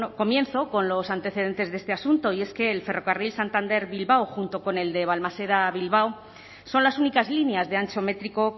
comienzo con los antecedentes de este asunto y es que el ferrocarril santander bilbao junto con el de balmaseda bilbao son las únicas líneas de ancho métrico